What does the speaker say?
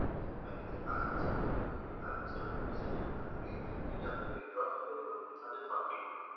বাকি যে পাঁচ বছৰ থাকিব সেই পাঁচ বছৰ টো পইছা দিব নালাগে কিন্তু আপুনি withdraw টো কৰিব two thousand forty two